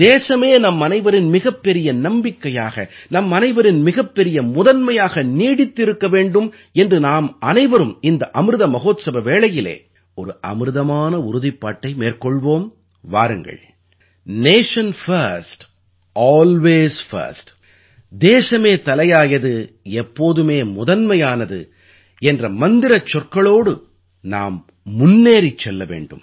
தேசமே நம்மனைவரின் மிகப்பெரிய நம்பிக்கையாக நம்மனைவரின் மிகப்பெரிய முதன்மையாக நீடித்து இருக்க வேண்டும் என்று நாமனைவரும் இந்த அமிர்த மஹோத்ஸவ வேளையிலே ஒரு அமிர்தமான உறுதிப்பாட்டை மேற்கொள்வோம் வாருங்கள் நேஷன் பிர்ஸ்ட் அல்வேஸ் பிர்ஸ்ட் தேசமே தலையாயது எப்போதுமே முதன்மையானது என்ற மந்திரச் சொற்களோடு நாம் முன்னேறிச் செல்ல வேண்டும்